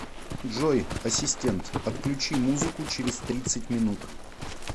джой ассистент отключи музыку через тридцать минут